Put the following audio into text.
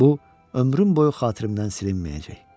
Bu ömrüm boyu xatirimdən silinməyəcək.